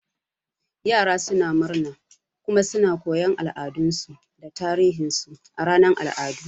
Yara suna murna kuma suna koyon al'adunsu da tarihinsu a ranar al'adu.